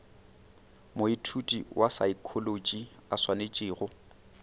moithuti wa saekholotši a swanetšego